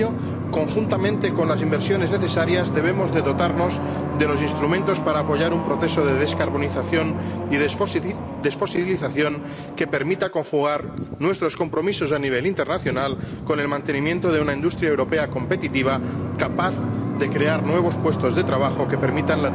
Para ello, conjuntamente con las inversiones necesarias, debemos dotarnos de los instrumentos para apoyar un proceso de descarbonización y desfosilización que permita conjugar nuestros compromisos a nivel internacional con el mantenimiento de una industria europea competitiva, capaz de crear nuevos puestos de trabajo que permitan